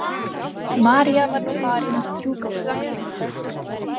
María var nú farin að strjúka á sér axlirnar.